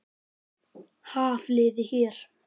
Hafliði hér.